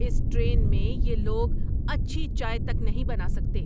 اس train میں یہ لوگ اچھی چائے تک نہیں بنا سکتے!